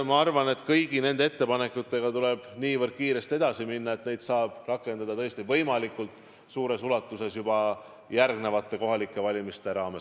Ma arvan, et kõigi nende ettepanekutega tuleb niivõrd kiiresti edasi minna, et neid saab rakendada tõesti võimalikult suures ulatuses juba järgnevate kohalike valimiste raames.